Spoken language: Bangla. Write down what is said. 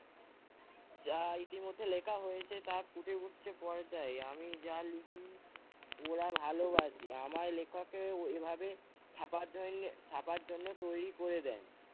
যা ইতিমধ্যে লেখা হয়েছে তা ফুটে উঠছে পর্দায়, আমি যা লিখি ওরা ভালোবাসে। আমার লেখকের ওইভাবে ছাপার জইন্যে~ ছাপার জন্য তৈরী করে দেন।